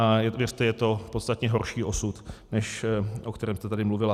A věřte, je to podstatně horší osud, než o kterém jste tady mluvila.